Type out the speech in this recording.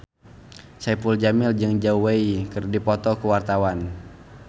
Saipul Jamil jeung Zhao Wei keur dipoto ku wartawan